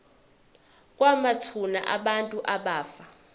kwamathuna abantu abafa